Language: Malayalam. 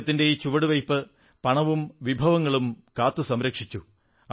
അദ്ദേഹത്തിന്റെ ഈ ചുവടുവയ്പ്പു പണവും വിഭവങ്ങളും കാത്തു